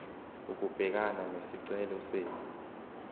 ukubhekana nesicelo senu